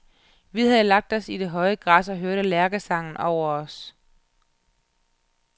Vi havde lagt os i det høje græs og hørte lærkesangen over os.